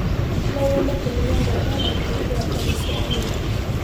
nonyende kũmenya rĩera rĩĩkaĩre atĩa gicũaĩnĩ